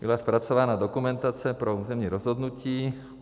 Byla zpracována dokumentace pro územní rozhodnutí.